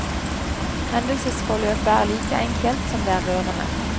Hendelsesforløpet er like enkelt som det er rørende.